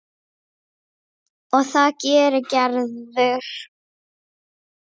Og það gerir Gerður.